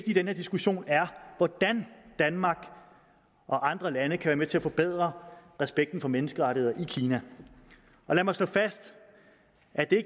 i den her diskussion er hvordan danmark og andre lande kan være med til at forbedre respekten for menneskerettigheder i kina lad mig slå fast at det